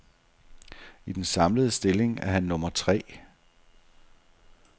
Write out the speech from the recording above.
I den samlede stilling er han nummer tre.